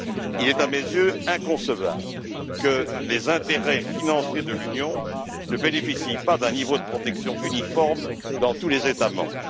Il est à mes yeux inconcevable que les intérêts financiers de l'Union ne bénéficient pas d'un niveau de protection uniforme dans tous les États membres.